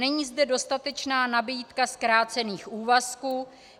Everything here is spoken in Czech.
Není zde dostatečná nabídka zkrácených úvazků.